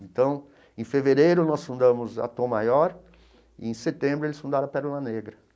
Então, em fevereiro, nós fundamos a Tom Maior e, em setembro, eles fundaram a Pérola Negra.